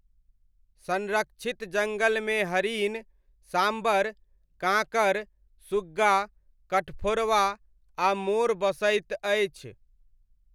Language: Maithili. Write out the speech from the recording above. संरक्षित जङ्गलमे हरिण, साम्बर, काङ्कर, सुग्गा, कठफोड़वा, आ मोर बसैत अछि।